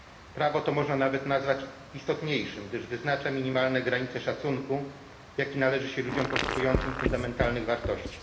Prawo to można nawet nazwać istotniejszym, gdyż wyznacza minimalne granice szacunku, jaki należy się ludziom poszukującym fundamentalnych wartości.